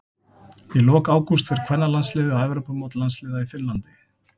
Í lok ágúst fer kvennalandsliðið á Evrópumót landsliða í Finnlandi.